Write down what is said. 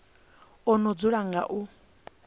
o no dzula nga u